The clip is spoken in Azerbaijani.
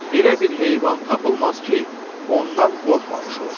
Elə bir heyvan tapılmaz ki, ondan qorxmamış olsun.